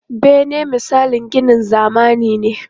Bene misalin ginin zamani ne.